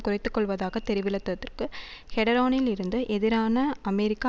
குறைத்து கொள்வதாக தெரிவிளத்ததற்கு டெஹரானிலிருந்து எதிரான அமெரிக்க